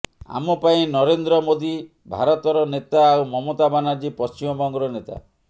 ଆମ ପାଇଁ ନରେନ୍ଦ୍ର ମୋଦି ଭାରତର ନେତା ଆଉ ମମତା ବାନାର୍ଜୀ ପଶ୍ଚିମ ବଙ୍ଗର ନେତା